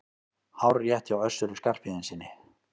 Hárrétt hjá Össuri Skarphéðinssyni!